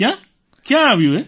ક્યાં ક્યાં આવ્યું એ